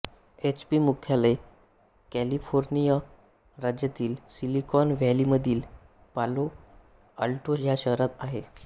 H P मुख्यालय California राज्यातील Silicon व्हॅलीमधील पालो आल्टो ह्या शहरात आहे